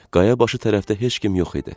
Qaya başı tərəfdə heç kim yox idi.